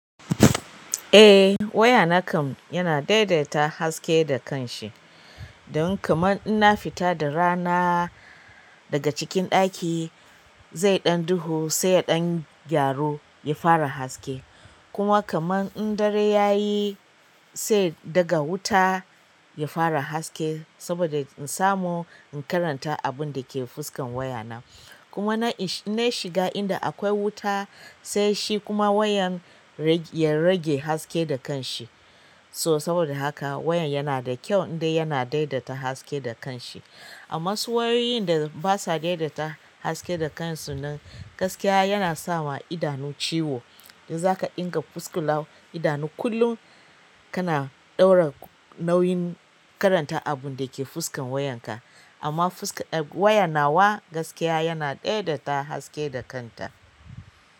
Eh waya na kam yana daidaita haske da kan shi. Dan kama in na fita da rana daga cikin ɗaki szai ɗanyi duhu ya gyaru ya ƙara haske da kuma kamar in dare yayi sai daga wuta ya fara haske saboda in samu in karanta abun da ke fuskan waya na. Kuma na, na shiga inda akwai wuta sai shi kuma wayan ya rage haske da kanshi. So saboda haka wayan yana da kyau in ɗau yana daidaita haske da kanshi. Amma su wayoyin da basa daidaita haske da kansu nan gaskiya yana sawa idanu ciwo. Da zaka inga fuska law idanu kullum, kana ɗora nauyin karanta abun da ke fuskan wayan ka. Amma fuska, waya nawa gaskiya yana daidaita haske da kanta.